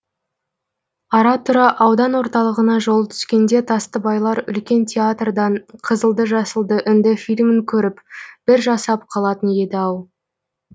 ара тұра аудан орталығына жолы түскенде тастыбайлар үлкен театрдан қызылды жасылды үнді фильмін көріп бір жасап қалатын еді ау